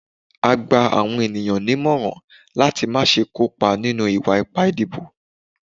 a gba awọn eniyan nimọrán lati ma ṣe kó pa ninu iwa-ipa idibo.